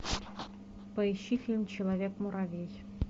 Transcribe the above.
поищи фильм человек муравей